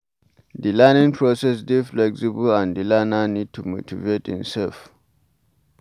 The learning process dey flexible and di learner need to motivate imself